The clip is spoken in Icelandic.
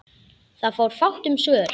Það var fátt um svör.